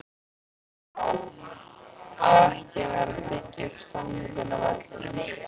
Á ekki að vera að byggja upp stemningu á vellinum??